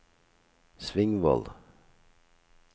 Svingvoll